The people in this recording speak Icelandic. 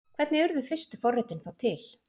Hvernig urðu fyrstu forritin þá til?